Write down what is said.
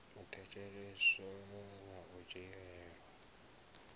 a thetsheleswa na u dzhielwa